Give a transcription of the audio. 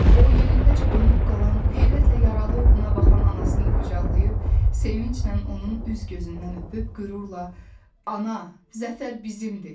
O, yerindəcə donub qalan, heyrətlə yaralı oğluna baxan anasını qucaqlayıb, sevinclə onun üz-gözündən öpüb, qürurla Ana, Zəfər bizimdir!